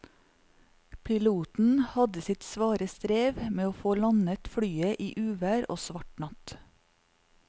Piloten hadde sitt svare strev med å få landet flyet i uvær og svart natt.